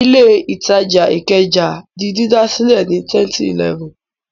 Ilé-ìtajà Ìkẹjà di dídà sílẹ̀ ní 2011.